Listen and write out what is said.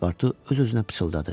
Paspartu öz-özünə pıçıldadı.